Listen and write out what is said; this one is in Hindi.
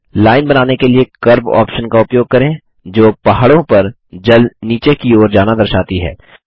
लाइन बनाने के लिए कर्व ऑप्शन का उपयोग करें जो पहाड़ों पर जल नीचे की ओर जाना दर्शाती है